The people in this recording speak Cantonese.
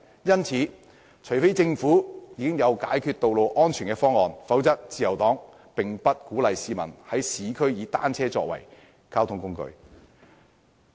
因此，除非政府已經有解決道路安全問題的方案，否則，自由黨並不鼓勵市民在市區以單車作為交通工具。